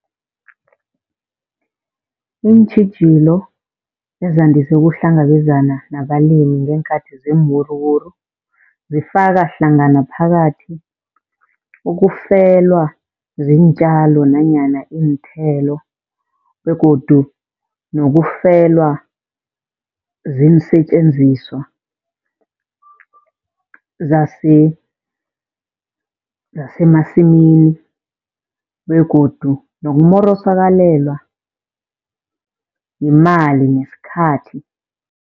Iintjhijilo ezandise ukuhlangabezana nabalimi ngeenkathi zeenwuruwuru, zifaka hlangana phakathi ukufelwa ziintjalo nanyana iinthelo. Begodu nokufelwa ziinsetjenziswa zasemasimini begodu nokumorosakalelwa yimali nesikhathi.